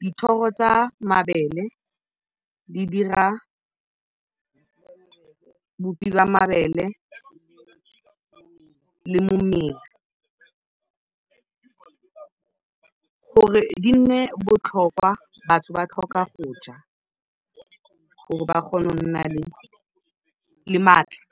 Dithoro tsa mabele di dira bopi jwa mabele le momela. Gore di nne botlhokwa, batho ba tlhoka go ja gore ba kgone go nna le maatla.